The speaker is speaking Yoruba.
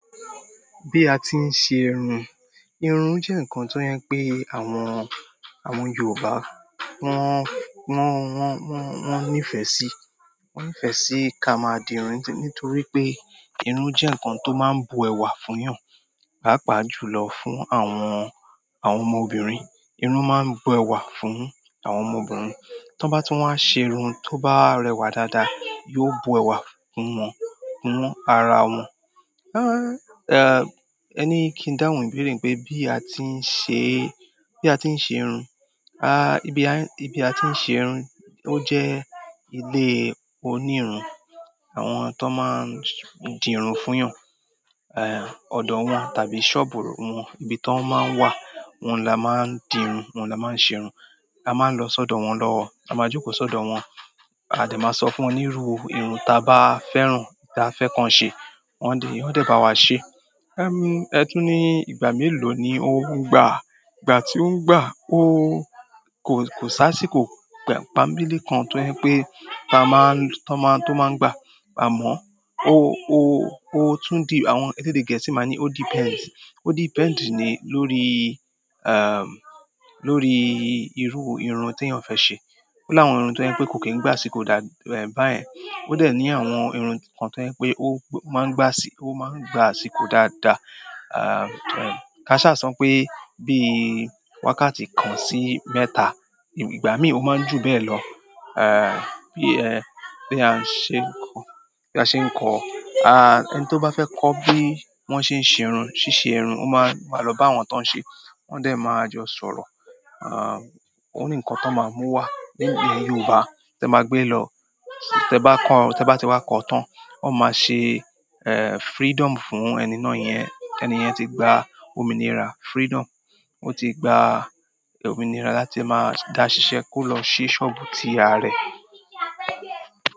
Bí a ti ń ṣe irun, irun jẹ́ ǹkan tó jẹ pé àwọn, àwọn Yorùbá wọ́n nífẹ̀ẹ́ sí. Wọ́n nífẹ̀ẹ́ sí ká máa di irun nítorí pé irun jẹ́ ǹkan tó máa ń bu ẹwà fún èèyàn, pàápàá jùlọ fún àwọn, àwọn ọmọbìnrin. Irun máa ń bu ẹwà fún àwọn ọmọbìnrin. Tọ́ n bá tun wa ṣe irun tó bá rẹwà dáadáa, yóò bu ẹwà kún wọn, kún ara wọn. Ẹní kí n dáhùn ìbéèrè pé bí a ti ń ṣe, bí a ti ń ṣe irun, ibi a ti ń ṣe irun, ó jẹ́ ilé oní irun. Àwọn ton maa n dirun funyan odo won tàbí soobu won, ibi ti won maa n wa, ohun la maa dirun, ohun la maa n se irun. A máa ń lọ sọ́dọ̀ wọn lọ, a máa jókòó sọ́dọ̀ wọn. A de ma so funwon niru irun taba fẹ́ràn, ti a fe kan se, won o de bawa se ẹtùn ní ìgbà mélòó ni ó ń gbà? Ìgbà tí ó ń gbà, ó kò, kò sá sí kò gbà, pànbelé kan tó jẹ pé tó máa ń gbà. Àmọ́ ó tún di, se you dey get, ti máa ń ní "o tún depends". Ó depends ni lórí, lórí irú irun tí èèyàn fẹ́ ṣe. Ó láwọn irun tó jẹ pé kò kì í gbàsíko dábi, báyẹn. Ó dẹ̀ ní àwọn irun kan tó jẹ pé ó máa ń gbà sí, ó máa ń gbà sí kò dáadáa. Káṣà so pé bí wákàtí kan sí mẹ́ta, ìgbà míì ó máa ń jù bẹ́ẹ̀ lọ. Bi a se nko, ẹni to ba fe ko bi won sen se irun, sise irun, o ma lo ba àwọn ton se, won de ma jo sọ̀rọ̀ ó ní ǹkan tón máa mú wá. Nínú Yorùbá te máa gbé lọ, tí ẹ bá kan, tí ẹ bá ti wá kọ́ tán, wón máa ṣe freedom fún ẹni náà yẹn. Ẹni yẹn ti gba ominira, freedom. Ó ti gba ominira láti máa dá ṣiṣẹ́ kó lọ ṣí sọ́ọ̀bù ti are ẹ̀.